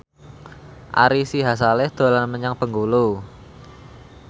Ari Sihasale dolan menyang Bengkulu